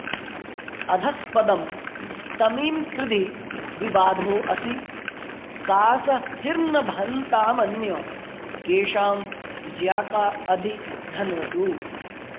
अधस्पदं तमीं कृधि विबाधो असि सासहिर्नभन्तामन्यकेषां ज्याका अधि धन्वसु